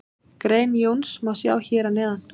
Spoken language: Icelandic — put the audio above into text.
Grein Jóns má sjá hér að neðan.